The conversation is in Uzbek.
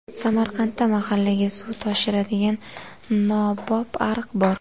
Samarqandda mahallaga suv toshiradigan nobop ariq bor.